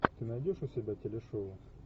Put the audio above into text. ты найдешь у себя телешоу